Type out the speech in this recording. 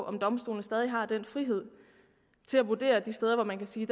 om domstolene stadig har den frihed til at vurdere de steder hvor man kan sige